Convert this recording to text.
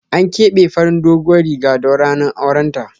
An kebe farin doguwan Riga don ranar auren ta.